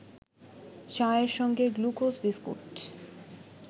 চায়ের সঙ্গে glucose biscuit